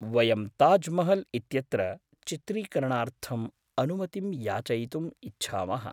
वयं ताज् महल् इत्यत्र चित्रीकरणार्थम् अनुमतिं याचयितुम् इच्छामः।